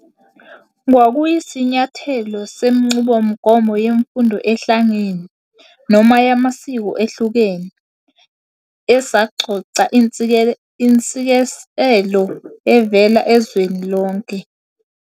Kwakuyisinyathelo senqubomgomo yemfundo ehlangene, noma yamasiko ehlukene, esaqoqa intshisekelo evela ezweni lonke.